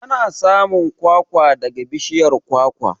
Ana samun kwakwa daga bishiyar kwakwa.